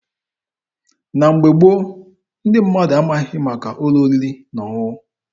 Na mgbe gboo, ndị mmadụ amaghị maka ụlọ oriri na ọṅụṅụ.